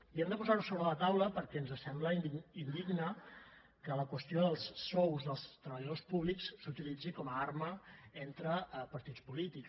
i hem de posar ho sobre la taula perquè ens sembla indigne que la qüestió dels sous dels treballadors públics s’utilitzi com a arma entre partits polítics